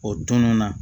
O tunun na